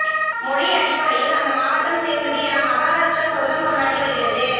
மொழி அடிப்படையில் அந்த மாவட்டம் சேர்ந்தது என மகாராஷ்டிரா சொந்தம் கொண்டாடி வருகிறது